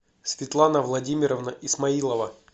светлана владимировна исмаилова